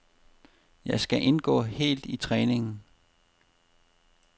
Jeg skal indgå helt i træningen.